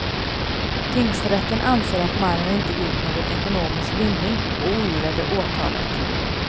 Tingsrätten anser att mannen inte gjort någon ekonomisk vinning och ogillade åtalet.